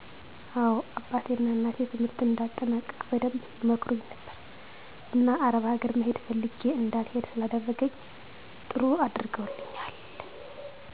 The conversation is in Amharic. አዎ አባቴ ና እናቴ ትምህርትን እንድአጠናቅቅ በደንብ ይመክሩኝ ነበር። እና አረብ አገር መሄድ ፈልግ እንዳልሄድ ስላደረኝ ጥሩ አድርገውልኛል።